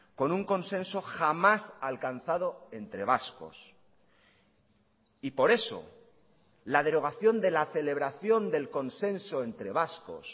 con un consenso jamás alcanzado entre vascos y por eso la derogación de la celebración del consenso entre vascos